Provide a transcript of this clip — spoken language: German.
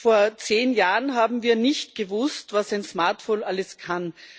Vor zehn Jahren haben wir nicht gewusst, was ein Smartphone alles kann.